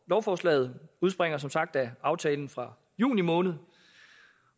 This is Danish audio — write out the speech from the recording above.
lovforslaget udspringer som sagt af aftalen fra juni måned